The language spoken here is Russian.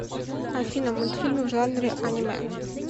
афина мультфильмы в жанре анимэ